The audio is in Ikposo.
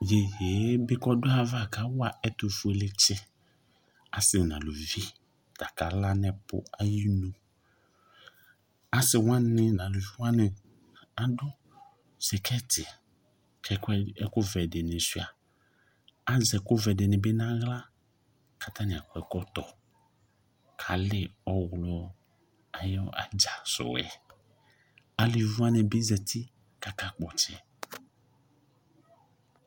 Iyeyee bʋa k'ɔdʋ ayava kawa ɛtʋfueletsɩ asɩ n'aluvɩ , k'aka la n'apʋ ayinu Asɩwanɩ n'aluviwanɩ adʋ sɩkɛtɩ k'ɛkʋdɩ ɛkʋvɛdɩnɩ sʋɩa , azɛ ɛkʋvɛdɩnɩ bɩ n'aɣla k'atanɩ akɔ ɛkɔtɔ k'alɩ ɔɣlɔ ayʋ adza sʋɛ Aluviwanɩ bɩ zati k'aka kpɔtsɛ